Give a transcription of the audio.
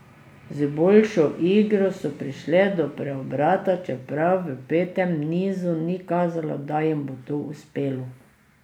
Z boljšo igro so prišle do preobrata, čeprav v petem nizu ni kazalo, da jim bo to uspelo.